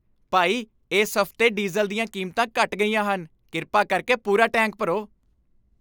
ਭਾਈ, ਇਸ ਹਫ਼ਤੇ ਡੀਜ਼ਲ ਦੀਆਂ ਕੀਮਤਾਂ ਘਟ ਗਈਆਂ ਹਨ। ਕਿਰਪਾ ਕਰਕੇ ਪੂਰਾ ਟੈਂਕ ਭਰੋ।